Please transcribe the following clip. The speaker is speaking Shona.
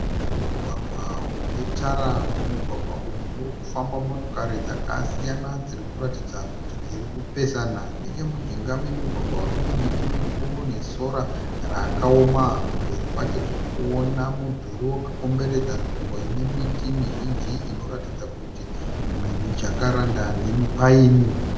Mugwagwa une tara. Mumugwagwa umu murikufamba motokari dzakasiyana dzirikuratidza kuti dzirikupesana . Nechemujinga memugwagwa uyu mune miti mikuru nesora rakaoma kumberi kwacho tirikuona mudhuri wakakomberedza nzvimbo inemiti mizhinji inoratidza kuti imwe mi jacaranda nemi pine.